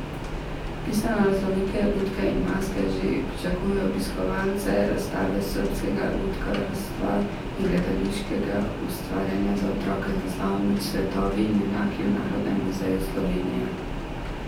Pisano raznolike lutke in maske že pričakujejo obiskovalce razstave srbskega lutkarstva in gledališkega ustvarjanja za otroke z naslovom Svetovi in junaki v Narodnem muzeju Slovenije.